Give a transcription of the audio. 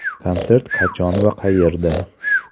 Konsert qachon va qayerda?